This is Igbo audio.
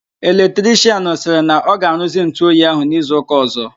Electrichịanụ sịrị na ọ ga-aruzi ntụ oyi ahụ n'izu ụka ọzọ.